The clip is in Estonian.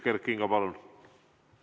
Kert Kingo, palun!